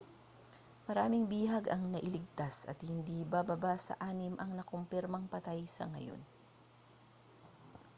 maraming bihag ang nailigtas at hindi bababa sa anim ang nakumpirmang patay sa ngayon